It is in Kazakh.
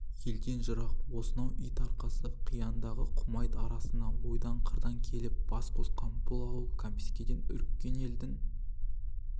елден жырақ осынау ит арқасы қияндағы құмайт арасына ойдан қырдан келіп бас қосқан бұл ауыл кәмпескеден үріккен елдің